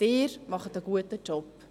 Sie machen einen guten Job.